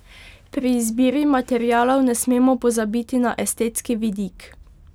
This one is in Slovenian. Pri izbiri materialov ne smemo pozabiti na estetski vidik.